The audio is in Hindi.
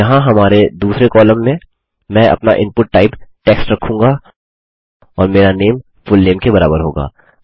यहाँ हमारे दूसरे कॉलम में मैं अपना इनपुट टाइप टेक्स्ट रखूँगा और मेरा नामे फुलनेम के बराबर होगा